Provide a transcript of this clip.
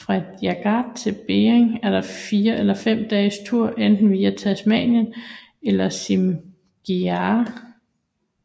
Fra Jagat til Beding er der en fire eller fem dages tur enten via Tasinam eller Simigau